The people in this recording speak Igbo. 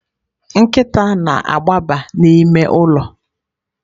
Nkịta na-agbaba n'ime ụlọ.